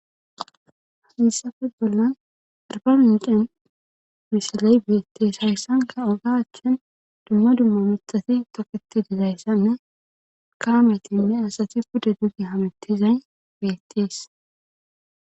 hessafe bollan arba mincen misiley beettees hayssanka oga achchin dumma dumma mithati toqeti dizayssanne kaametinne asati puda dugi hametizay beettees